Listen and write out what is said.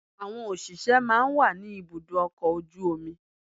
Àwọn òṣìṣẹ́ máa ń wà ní ibùdó ọkọ̀ ojú omi